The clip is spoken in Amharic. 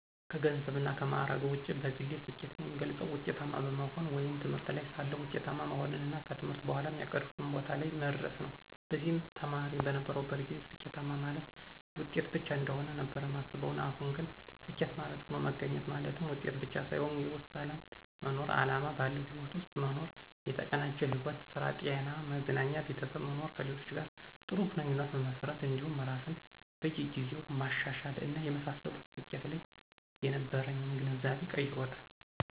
ከገንዘብና ከማዕረግ ውጪ በግሌ ስኬትን የምገልፀው ውጤታማ በመሆን ወይም ትምህርት ላይ ሳለሁ ውጤታማ መሆንንና ከትምህርት በኋም ያቀድኩት ቦታ ላይ መድረስን ነው። በዚህም ተማሪ በነበርኩበት ጊዜ ስኬት ማለት ውጤት ብቻ እንደሆነ ነበር ማስበው አሁን ግን ስኬት ማለት ሆኖ መገኘት ማለትም ውጤት ብቻ ሳይሆን የውስጥ ሰላም መኖር፣ አላማ ባለው ህይወት ውስጥ መኖር፣ የተቀናጀ ሕይወት ( ስራ፣ ጤና፣ መዝናኛ፣ ቤተሰብ) መኖር፣ ከሌሎች ጋር ጥሩ ግንኙነት መመስረት እንዲሁም ራስን በየ ጊዜው ማሻሻል እና የመሳሰሉት ስኬት ላይ የነበረኝን ግንዛቤ ቀይሮታል።